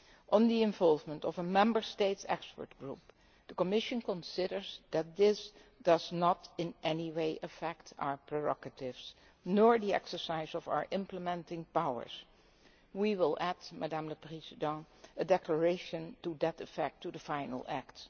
On the involvement of a Member States Expert Group, the Commission considers that this does not in any way affect our prerogatives or the exercise of our implementing powers. We will add, Madam President, a declaration to that effect to the final act.